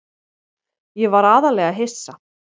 Ég var aðallega hissa.